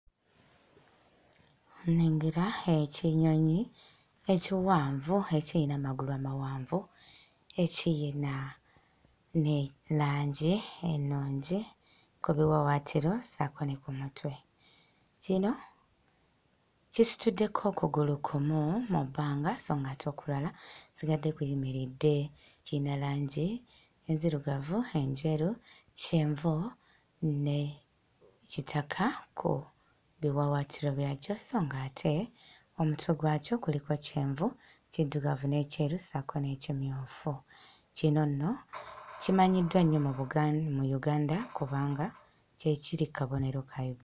Nnengera ekinyonyi ekiwanvu ekiyina amagulu amawanvu ekiyina ne langi ennungi ku biwawaatiro ssaako ne ku mutwe. Kino kisituddeko okugulu kumu mu bbanga sso ng'ate okulala kusigadde kuyimiridde. Kiyina langi ezirugavu, enjeru, kyenvu ne kitaka ku biwawaatiro byakyo sso ng'ate omutwe gwakyo kuliko kyenvu, kiddugavu n'ekyeru ssaako n'ekimyufu. Kino nno kimanyiddwa nnyo mu Buga mu Uganda kubanga kye kiri ku kabonero kaayo.